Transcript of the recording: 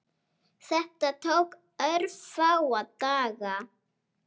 Þetta tók örfáa daga.